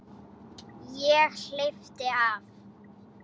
Ég hleypti af.